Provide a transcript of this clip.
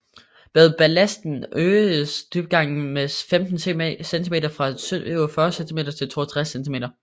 Med ballasten øgedes dybgangen med 15 cm fra 47 cm til 62 cm